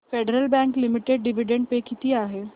federal Bank Limited dividend pay किती आहे